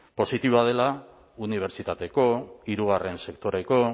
positiboa dela unibertsitateko hirugarren sektoreko